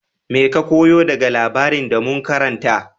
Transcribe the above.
Mai ka koya daga labarin da mun karanta?